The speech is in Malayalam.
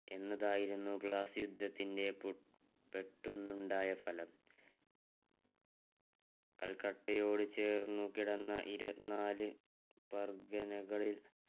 എന്നതായിരുന്നു ഗ്ലാസ്സി യുദ്ധത്തിന്റെ പു പെട്ടെന്നുണ്ടായ ഫലം കൽക്കട്ടയോട് ചേർന്ന് കിടന്ന് ഇരുപതിനാൽ പർഗനകൾ